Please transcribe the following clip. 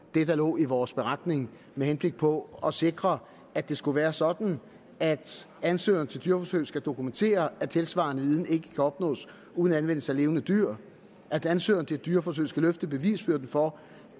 det der lå i vores beretning med henblik på at sikre at det skulle være sådan at ansøgere til dyreforsøg skal dokumentere at tilsvarende viden ikke kan opnås uden anvendelse af levende dyr at ansøgeren til dyreforsøg skal løfte bevisbyrden for